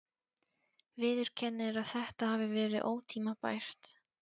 Viðurkennir að þetta hafi verið ótímabært.